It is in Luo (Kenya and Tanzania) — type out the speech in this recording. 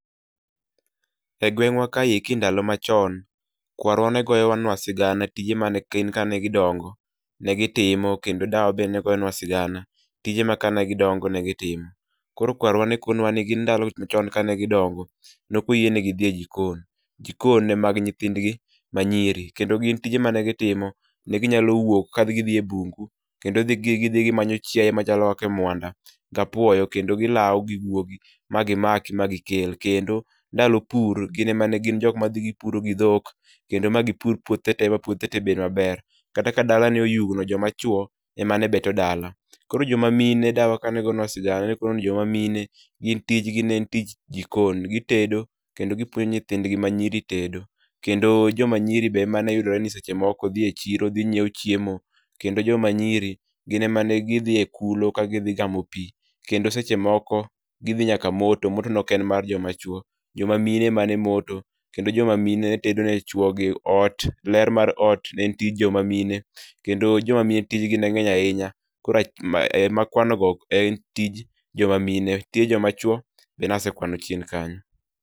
Egwengwa ka eki e ndala machon kwarwa ne goyo nwa sigana tije mane gi timo ka gidongo kendo dawa bende ne goyonwa sigana tije maka ne gidongo negi timo. koro kwarwa ne kono wa ni gin ndalo chon kane gi dongo ne ok oyiene gi dhi e jikon, jikon ne mag nyithindgi manyiri kendo gin tije mane gitimo ne ginyalo wuok ka gidhi e bungu kendo gi dhi gimanyo chianye machalo kaka mwanda ka puoyo kendo gilawo gi guogi magi maki magi kel. kendo ndalo pur gin e jok mane dhi puro gi dhok kendo magi pur puodhe te ma puodhe te bed maber, kata ka dala kane oyugno joma chuo e mane beto dala, koro joma mine ,dawa kane gonwa sigana ne oknwa ni joma mine gin tich gi ne en tich ji kon gitedo kendo gipuonjo nyithindgi manyiri tedo, kedo joma nyiri be emane yudre ni seche moko dhi e chiro gi ng'iewo chiemo kendo joma nyiri gin emane gi dhi e kulo ka gidhi gamo pi, kendo seche moko gidhi nyaka moto, moto ne ok en mar joma chuo joma mine emane moto kendo joma mine ne tedo ne chuogi, ler mar ot ne en tij joma mine kendo joma mine tij gi ne ng'eny ahinya koro ema kwano go gin tije joma mine ,tije joma chuo be nasekwano chien kanyo